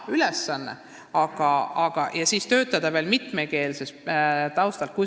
Tuleb mõista, mida tähendab töötada mitmekeelsel taustal.